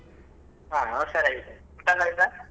ಹ ನಾನ್ ಉಷಾರಾಗಿದ್ದೇನೆ ಊಟಯೆಲ್ಲ ಆಯ್ತಾ?